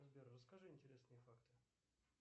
сбер расскажи интересные факты